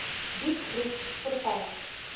diep groef verval